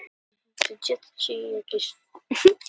Gangi þér allt í haginn, Jónatan.